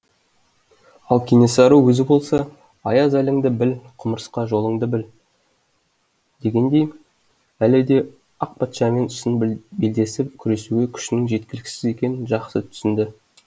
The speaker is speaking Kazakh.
ал кенесары өзі болса аяз әліңді біл құмырсқа жолыңды біл дегендей әлі де ақ патшамен шын белдесіп күресуге күшінің жеткіліксіз екенін жақсы түсінді